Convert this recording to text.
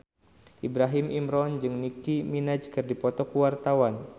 Ibrahim Imran jeung Nicky Minaj keur dipoto ku wartawan